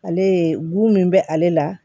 Ale ye gumi bɛ ale la